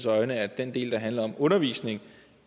at den del der handler om undervisning